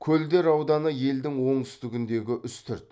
көлдер ауданы елдің оңтүстігіндегі үстірт